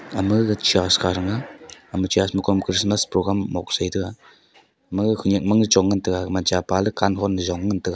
ama gag church kha sanga thanga ama church ma kom christmas program mok a sai taga ama gag khanak mang chong ngan taga gaman chapa ley kan hon to jong ngantaga.